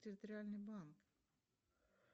территориальный банк